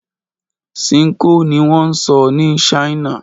Ṣinkó ni wọ́n ń sọ ní China.